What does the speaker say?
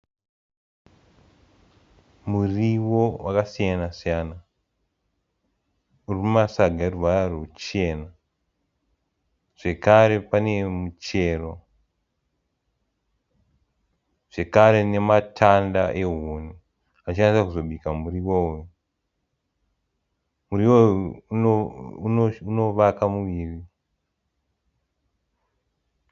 Muriwo wakasiyana-siyana uri mumasaga eruvara ruchena. Zvekare pane muchero. Zvekare nematanda ehuni achada kubika muriwo uyu. Muriwo uyu unovaka muviri.